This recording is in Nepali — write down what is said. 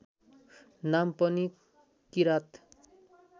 नाम पनि किराँत